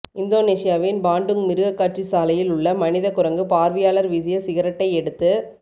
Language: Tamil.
இந்தோனேசியாவின் பாண்டுங் மிருகக்காட்சி சாலையில் உள்ள மனித குரங்கு பார்வையாளர் வீசிய சிகரெட்டை எடுத்து